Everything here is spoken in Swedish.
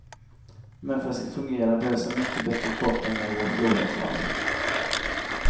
Men för att det ska fungera behövs en mycket bättre kartläggning av vår flora och fauna.